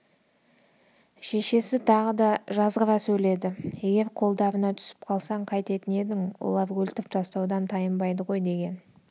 шешесі тағы да жазғыра сөйледі егер қолдарына түсіп қалсаң қайтетін едің олар өлтіріп тастаудан тайынбайды ғой деген